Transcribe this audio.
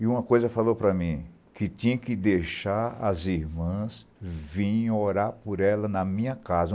E uma coisa falou para mim, que tinha que deixar as irmãs virem orar por ela na minha casa.